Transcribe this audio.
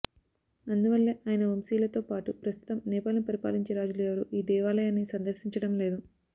అందువల్లే ఆయన వంశీయులతో పాటు ప్రస్తుతం నేపాల్ ను పరిపాలించే రాజులు ఎవరూ ఈ దేవాలయాన్ని సందర్శించడం లేదు